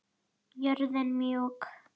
Jörðin mjúk.